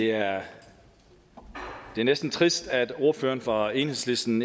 det er næsten trist at ordføreren fra enhedslisten